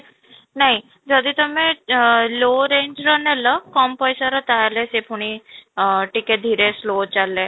ନାଇଁ ଯଦି ତୋମେ ଆଁ low range ର ନେଲ କମ ପଇସା ର ତାହେଲେ ସେ ପୁଣି ଆଁ ଟିକେ ଧୀରେ slow ଚାଲେ